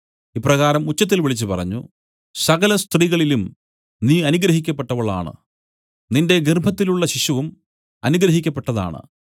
ഇപ്രകാരം ഉച്ചത്തിൽ വിളിച്ചു പറഞ്ഞു സകല സ്ത്രീകളിലും നീ അനുഗ്രഹിക്കപ്പെട്ടവളാണ് നിന്റെ ഗർഭത്തിലുള്ള ശിശുവും അനുഗ്രഹിക്കപ്പെട്ടതാണ്